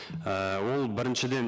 ііі ол біріншіден